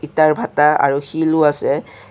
ইটাৰ ভাটা আৰু শিলো আছে।